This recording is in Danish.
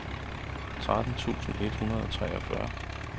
tretten tusind et hundrede og treogfyrre